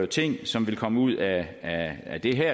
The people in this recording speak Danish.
ting som vil komme ud af af det her